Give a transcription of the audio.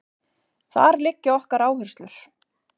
Þar liggja okkar áherslur